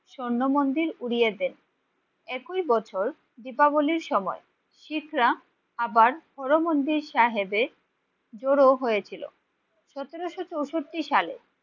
স্বর্ণ মন্দির উড়িয়ে দেন। একই বছর দীপাবলীর সময় শিখরা আবার হর মন্দির সাহেবে জড়ো হয়েছিল সতেরোশো চৌষট্টি সালে।